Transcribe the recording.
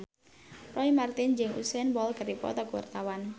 Roy Marten jeung Usain Bolt keur dipoto ku wartawan